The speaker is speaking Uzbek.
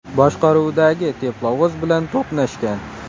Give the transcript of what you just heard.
boshqaruvidagi teplovoz bilan to‘qnashgan.